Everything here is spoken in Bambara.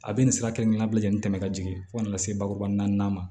A bɛ nin sira kelen-kelenna bɛɛ ni tɛmɛ ka jigin fo ka na se bakuruba naani ma